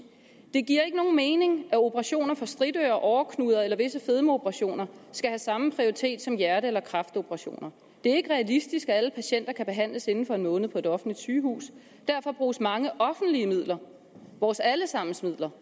det giver ikke nogen mening at operationer for stritører åreknuder eller visse fedmeoperationer skal have samme prioritet som hjerte eller kræftoperationer det er ikke realistisk at alle patienter kan behandles inden for en måned på et offentligt sygehus derfor bruges mange offentlige midler vores alle sammens midler